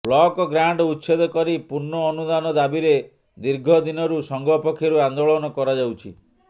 block grant ଉଚ୍ଛେଦ କରି ପୂର୍ଣ୍ଣ ଅନୁଦାନ ଦାବିରେ ଦୀର୍ଘଦିନରୁ ସଂଘ ପକ୍ଷରୁ ଆନ୍ଦୋଳନ କରାଯାଉଛି